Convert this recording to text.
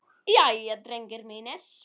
Jæja, drengir mínir!